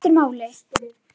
Símtal sem skiptir máli